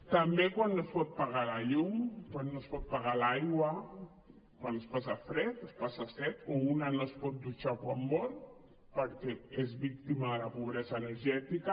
també quan no es pot pagar la llum quan no es pot pagar l’aigua quan es passa fred es passa set o una no es pot dutxar quan vol perquè és víctima de la pobresa energètica